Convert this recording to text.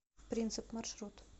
принцип маршрут